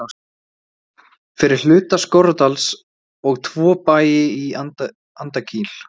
fyrir hluta Skorradals og tvo bæi í Andakíl.